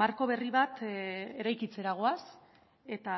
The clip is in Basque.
marko berri bat eraikitzera goaz eta